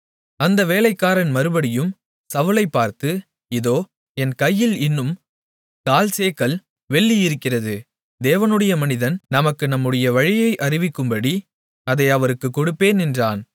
அந்த வேலைக்காரன் மறுபடியும் சவுலைப் பார்த்து இதோ என் கையில் இன்னும் கால்சேக்கல் வெள்ளியிருக்கிறது தேவனுடைய மனிதன் நமக்கு நம்முடைய வழியை அறிவிக்கும்படி அதை அவருக்குக் கொடுப்பேன் என்றான்